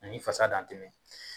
Ani fasa dantɛmɛ